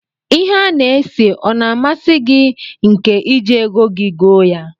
Ihe a na-ese ọ na amasi gi nke iji ego gi goo ya?